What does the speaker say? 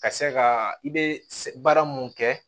Ka se ka i bɛ baara mun kɛ